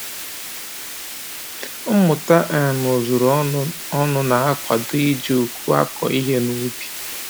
Mmụta um ozuru ọnụ ọnụ na-akwado iji uku akụ ihe n'ubi